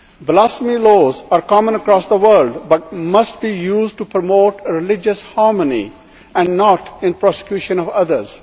Blasphemy laws are common across the world, but must be used to promote religious harmony and not in persecution of others.